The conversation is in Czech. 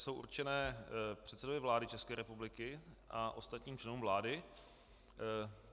Jsou určeny předsedovi vlády České republiky a ostatním členům vlády.